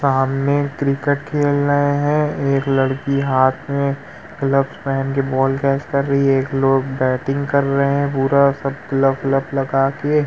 सामने क्रिकेट खेल रहे हैं। एक लड़की हाथ में ग्लव्स पेहेन के बॉल कैच कर रही है। एक लोग बैटिंग कर रहे है पूरा सब ग्लव लब लगाके।